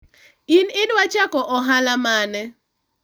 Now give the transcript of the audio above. in idwa chako ohala mane?